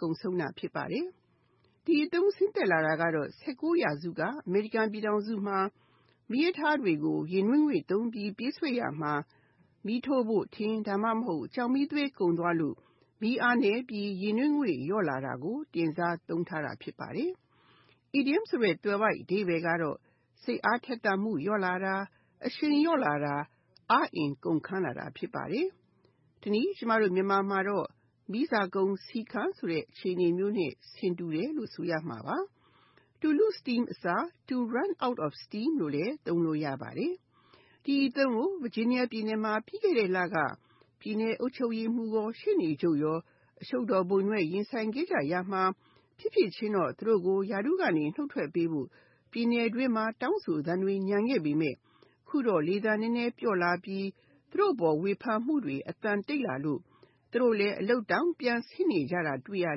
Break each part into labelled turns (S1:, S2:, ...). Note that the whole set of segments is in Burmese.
S1: ကုန်ဆုံးတာ ဖြစ်ပါတယ်။ ဒီအသုံးဆင်းသက်လာတာက (၁၉) ရာစုက အမေရိကန်ပြည်ထောင်စုမှာ မီးရထားတွေကို ရေနွေးငွေ့သုံ့းပြီးပြေးဆွဲရာမှာ ၊ မီးထိုးဖို့ ထင်း ဒါမှမဟုတ် ကျောက်မီးသွေး ကုန်သွားလို့ မီးအားနည်းပြီး ရေနွေးငွေ့ လျော့လာတာကို တင်စားသုံးထားတာ ဖြစ်ပါတယ်။ Idiom သွယ်ဝိုက်အဓိပ္ပါယ်က စိတ်အားထက်သန်မှု လျော့လာတာ၊အရှိန်လျော့လာတာ၊ အားအင်ကုန်ခံလာတာ ဖြစ်ပါတယ်။ တနည်းအားဖြင့် ကျမတို့မြန်မာမှာ မီးစာကုန်ဆီခမ်းတဲ့ အခြေအနေမျိုးနဲ့ ဆင်တူတယ်လို့ ဆိုရမှပါ၊ To lose steam အစား To run out of steam လို့လည်း သုံးလို့ ရပါတယ်။ ဒီအသုံးကို Virginia ပြည်နယ်မှာ ပြီးခဲ့တဲ့လက ပြည်နယ်အုပ်ချုပ်ရေးမှူးနဲ့ ရှေ့နေချုပ်တို့ အရှုပ်တော်ပုံတွေနဲ့ ရင်ဆိုင်ခဲ့ကြရပြီး၊ ဖြစ်ဖြစ်ချင်းတော့ သူတို့ကို ရာထူးကနေ နှုတ်ထွက်ပေးဖို့ ပြည်နယ်တွင်းမှာ တောင်းဆိုသံတွေ ညံခဲ့ပေမယ့် အခုတော့ လေသံနည်းနည်း ပျော့လာပြီး၊ သူတို့အပေါ် ဝေဖန်မှုတွေ အသံတိတ်လာလို့ သူ့တို့လည်း အလုပ်တောင်ပြန်ဆင်းနေကြတာ တွေ့ရ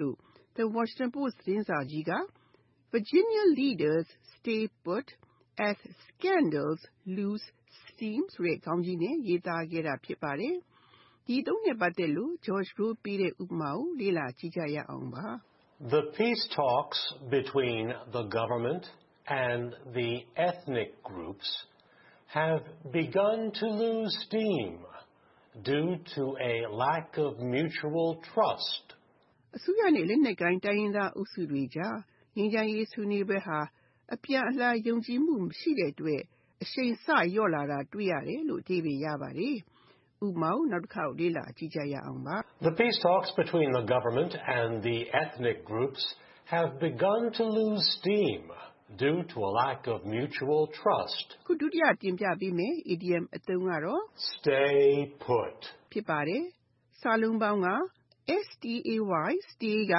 S1: လို့ The Washington Post သတင်းစာကြီးက Virginia leaders stay put as scandals lose steam ဆိုတဲ့ ခေါင်းကြီးနဲ့ ရေးသားခဲ့တာ ဖြစ်ပါတယ်။ ဥပမာ
S2: The Peace talks between the government and the ethnic armed groups have begun to lose steam due to lack of mutual trust. အစိုးရနဲ့
S1: လက်နက်ကိုင်တိုင်းရင်းသားအုပ်စုတွေကြား ငြိမ်းချမ်းရေး ဆွေးနွေးပွဲဟာ အပြန်အလှန်ယုံကြည်မှု မရှိတဲ့အတွက် အရှိန်စလျော့လာတာ တွေ့ရတယ်။ (၂) Stay put
S2: Stay
S1: က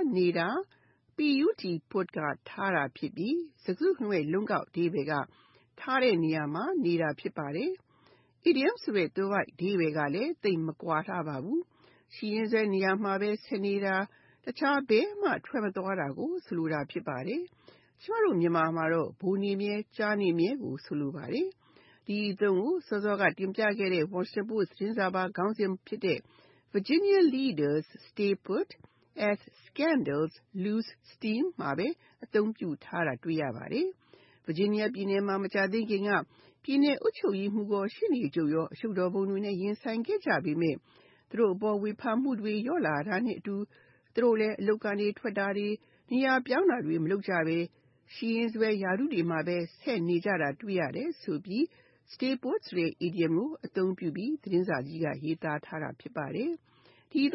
S1: (နေတာ) put (ထားတာ) ဖြစ်ပြီး စကားစုတခုလုံးရဲ့ လုံးကောက်အဓိပ္ပါယ်က ထားတဲ့နေရာမှာနေတာ ဖြစ်ပါတယ်။ Idiom သွယ်ဝိုက်အဓိပ္ပါယ်ကလည်း သိပ်မကွာလှပါဘူး။ ရှိရင်းစွဲနေရာမှာပဲ ဆက်နေတာ၊ တခြားဘယ်မှ ထွက်မသွားတာကို ဆိုလိုတာ ဖြစ်ပါတယ်။ ကျမတို့ မြန်မာမှာတော့ ဗိုလ်နေမြဲ၊ ကျားနေမြဲကိုဆိုလိုပါတယ်။ ဒီအသုံးကို စောစောတင်ပြခဲ့တဲ့ Washington Post သတင်းစာပါ ခေါင်းစဉ်ဖြစ်တဲ့ Virginia leaders stay put as scandals lose steam မှာပဲ အသုံးပြုထားတာ ဖြစ်ပါတယ်။ Virginia ပြည်နယ်မှာ မကြာသေးခင်က ပြည်နယ်အုပ်ချုပ်ရေးမှူး နဲ့ ရှေ့နေချုပ်ရော အရှုပ်တော်ပုံတွေနဲ့ ရင်ဆိုင်ခဲ့ကြပေမယ့် သူတို့အပေါ် ဝေဖန်မှုတွေ လျော့လာတာနဲ့အတူ သူတို့လည်း အလုပ်ကထွက်တာတွေ၊ နေရာပြောင်းတာတွေ မလုပ်ကြဘဲ ရှိရင်းစွဲရာထူးတွေမှာပဲ ဆက်နေကြတာ တွေ့ရတဲ့အတွက် Stay put" ဆိုတဲ့ idiom ကို အသုံးပြုပြီးရေးသားခဲ့တာ ဖြစ်ပါတယ်။ ဥပ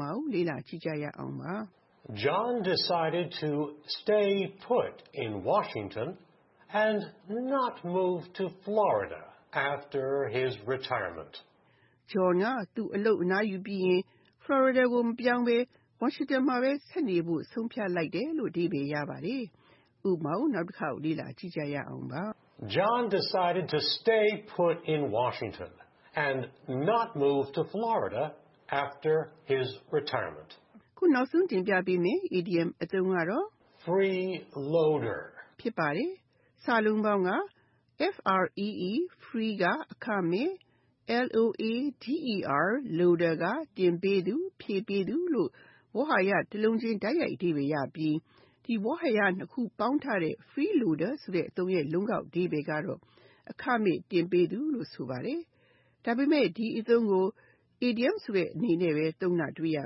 S1: မာ
S2: John decided to stay put in Washington and not to move to Florida after his retirement.
S1: John က သူအလုပ်က အနားယူပြီးရင် Florida ကို မပြောင်းဘဲ Washington မှာပဲ ဆက်နေဖို့ ဆုံးဖြတ်လိုက်တယ်။ (၃) Freeloader Free (အခမဲ့)၊ loader (တင်ပေးသူ၊ ဖြည့်ပေးသူ) လို့ ဝေါဟာရတလုံးချင်း တိုက်ရိုက်အဓိပ္ပါယ်ရပြီး၊ ဒီဝေါဟာရ နှစ်လုံးပေါင်းထားတဲ့ Freeloader ဆိုတဲ အသုံးရဲ့ လုံးကောက်အဓိပ္ပါယ်က အခမဲ့တင်ပေးသူ ဖြစ်ပါတယ်။ ဒါပေမဲ့ ဒီအသုံးကို အီဒီယံအနေနဲ့ပဲ သုံးတာတွေ့ရ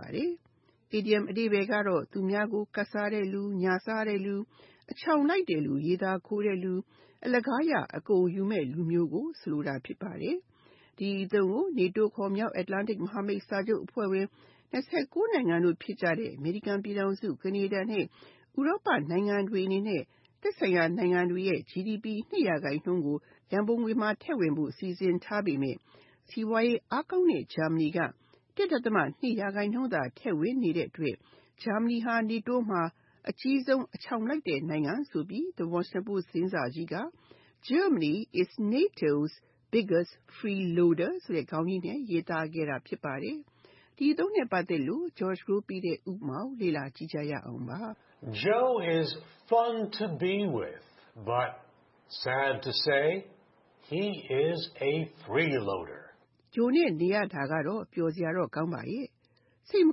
S1: ပါတယ်။ အီဒီယံ အဓိပ္ပါယ်ကတော့ သူများကို ကပ်စားတဲ့လူ၊ ညာစားတဲ့လူ၊ အချောင်လိုက်တဲ့လူ၊ ရေသာခိုတဲ့လူ ၊ အလကားရအကုန်ယူမယ့် လူမျိုးကိုဆိုလိုတာ ဖြစ်ပါတယ်။ ဒီအသုံးကို NATO ခေါ် မြောက်Atlantic မဟာမိတ်စာချုပ်အဖွဲ့ဝင် (၂၉) နိုင်ငံတို့ ဖြစ်ကြတဲ့ အမေရိကန်ပြည်ထောင်စု၊ ကနေဒါ နဲ့ ဥရောပနိုင်ငံတွေအနေနဲ့ NATO ရဲ့ ရန်ပုံငွေအတွက် သက်ဆိုင်ရာနိုင်ငံတွေရဲ့ GDP (၂)ရာခိုင်နှုန်း ထည့်ဝင်ဖို့ စီစဉ်ထားပေမယ့် စီးပွားရေး အားကောင်းတဲ့ ဂျာမဏီ က (၁.၂) ရာခိုင်နှုန်းသာ ထည့်ဝင်နေတဲ့အတွက် ဂျာမဏီဟာ NATO မှာ အကြီးဆုံး အချောင်လိုက်တဲ့ နိုင်ငံဆိုပြီး The Washington Post သတင်းစာကြီးက Germany is biggest freeloader ဆိုတဲ့ ခေါင်းကြီးနဲ့ ရေးသားခဲ့တာ ဖြစ်ပါတယ်။ ဥပမာ
S2: Joe is fun to be with, but sad to say he is a freeloader!
S1: Joe နဲ့ နေရာတာ ပျော်စရာတော့ကောင်းပါရဲ့၊ စိတ်မ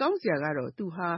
S1: ကောင်းစရာ က သူဟာ